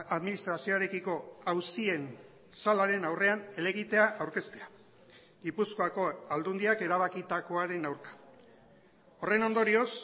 administrazioarekiko auzien salaren aurrean elegitea aurkeztea gipuzkoako aldundiak erabakitakoaren aurka horren ondorioz